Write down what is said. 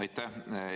Aitäh!